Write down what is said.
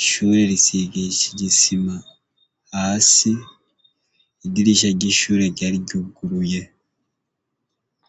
Ishure risigishijwe isima hasi, idirisha ry'ishure ryari ryuguruye.